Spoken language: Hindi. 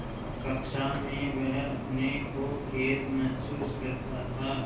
कक्षा में वह अपने को कैद महसूस करता था